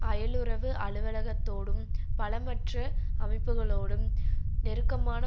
அயலுறவு அலுவலகத்தோடும் பலமற்ற அமைப்புக்களோடும் நெருக்கமான